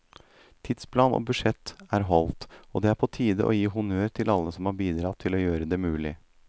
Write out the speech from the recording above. Tidsplan og budsjett er holdt, og det er på tide å gi honnør til alle som har bidratt til å gjøre det mulig.